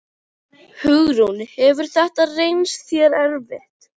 Hugrún: Hefur þetta reynst þér erfitt?